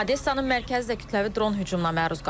Odessanın mərkəzi də kütləvi dron hücumuna məruz qalıb.